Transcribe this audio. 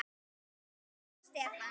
Lilja og Stefán.